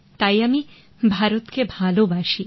তাই আমি ভারতকে ভালবাসি